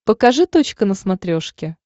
покажи точка на смотрешке